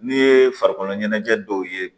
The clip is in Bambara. N'i ye farikolo ɲɛnajɛ dɔw ye